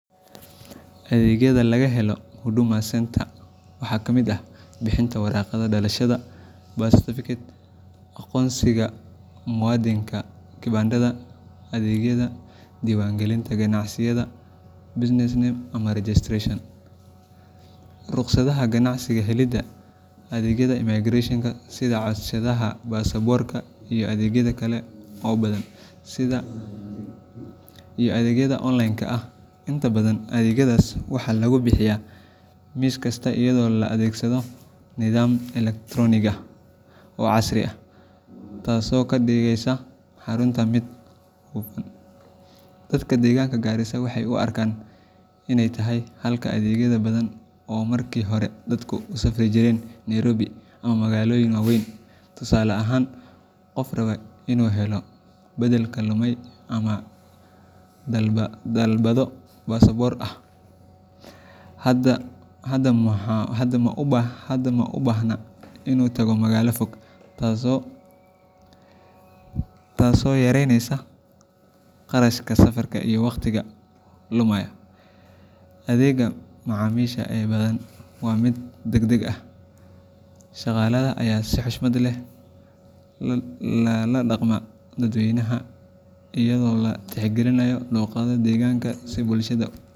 Adeegyada laga helo Huduma Centre waxaa ka mid ah: bixinta warqadda dhalashada birth certificate, aqoonsiga muwaadinka kibandadha, adeegyada diiwaangelinta ganacsiyada business name registration, ruqsadaha ganacsiga, helidda , adeegyada Immigration sida codsashada baasaboorka, iyo adeegyo kale oo badan sida , iyo adeegyada onlineka ah. Inta badan adeegyadaas waxaa lagu bixiyaa miis kasta iyadoo la adeegsado nidaam elektaroonig ah oo casri ah, taasoo ka dhigaysa xarunta mid hufan. Dadka deegaanka Garissa waxay u arkaan inay tahay xalka adeegyo badan oo markii hore dadku u safri jireen Nairobi ama magaalooyin waaweyn. Tusaale ahaan, qof raba inuu helo beddelka lumay ama uu dalbado baasaboorka hadda ma u baahna inuu tago magaalo fog, taasoo yareynaysa kharashka safarka iyo waqtiga lumaya. Adeegga macaamiisha ee badanaa waa mid degdeg ah, shaqaalaha ayaana si xushmad leh u la dhaqma dadweynaha, iyadoo la tixgelinayo luqadda deegaanka si bulshada.